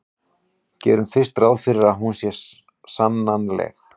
gerum fyrst ráð fyrir að hún sé sannanleg